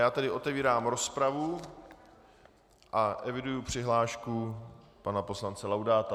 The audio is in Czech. Já tedy otevírám rozpravu a eviduji přihlášku pana poslance Laudáta.